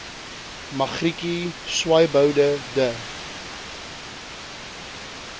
magrietjie swaaiboude de